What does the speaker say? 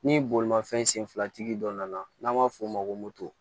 Ni bolimafɛn sen filatigi dɔ nana n'an b'a f'o ma ko moto